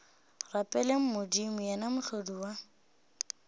rapeleng modimo yena mohlodi wa